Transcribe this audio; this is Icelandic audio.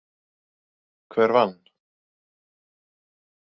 Hver vann?